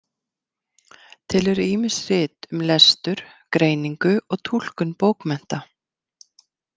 Til eru ýmis rit um lestur, greiningu og túlkun bókmennta.